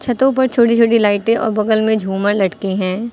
छतों पर छोटी-छोटी लाइटे और बगल में झूमर लटके हैं।